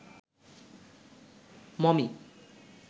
mummy